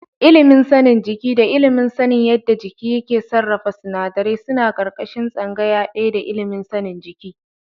Ilimin sanin jiki da ilimin sanin yadda jiki yake sarrafa sinadarai suna ƙarƙashin tsangaya ɗaya da ilimin sanin jiki.